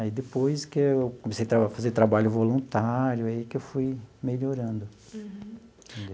Aí depois que eu comecei a tra fazer trabalho voluntário, aí que eu fui melhorando.